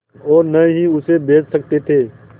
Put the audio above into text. और न ही उसे बेच सकते थे